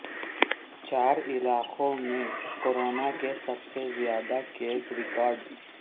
چار علاقوں میں کورونا کے سب سے زیادہ کیسز ریکارڈ